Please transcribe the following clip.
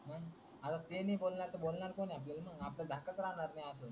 आता ते नाही बोलणार तर बोलणार कोण आहे आपल्याला घाकच नाही राहणार अश्यान.